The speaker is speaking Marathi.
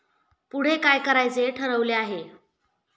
पुढे काय करायचे ठरविले आहे?